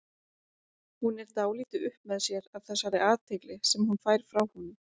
Hún er dálítið upp með sér af þessari athygli sem hún fær frá honum.